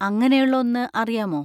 അങ്ങനെയുള്ള ഒന്ന് അറിയാമോ?